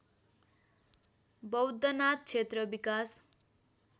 बौद्धनाथ क्षेत्र विकास